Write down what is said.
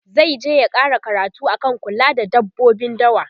zaije ya ƙara karatu akan kula da dabbobin dawa